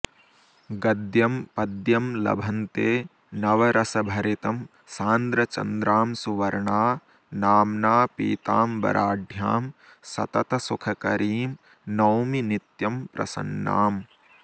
गद्यं पद्यं लभन्ते नवरसभरितं सान्द्रचन्द्रांशुवर्णा नाम्ना पीताम्बराढ्यां सततसुखकरीं नौमि नित्यं प्रसन्नाम्